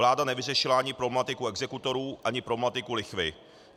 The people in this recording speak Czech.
Vláda nevyřešila ani problematiku exekutorů, ani problematiku lichvy.